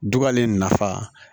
Dubalen nafa